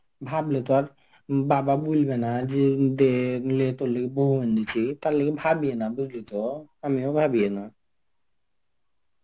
ভাবলো তোর বাবা বলবে না দে লে তার লগে বৌ এনেছি তার লগে ভাবিও না বুঝলি তো আমিও ভাবিও না.